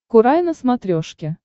курай на смотрешке